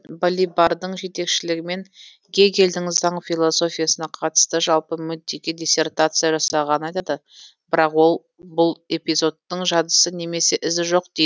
балибардың жетекшілігімен гегельдің заң философиясына қатысты жалпы мүддеге диссертация жасағанын айтады бірақ ол бұл эпизодтың жадысы немесе ізі жоқ дейді